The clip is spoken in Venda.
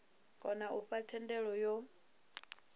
kona u fha thendelo yo